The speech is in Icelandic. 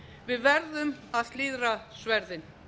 við verðum að slíðra sverðin